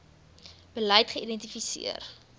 beleid geïdenti seer